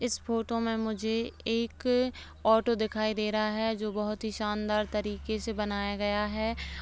इस फोटो में मुझे एक ऑटो दिखाई दे रहा है जो बोहोत ही शानदार तरीके से बनाया गया है।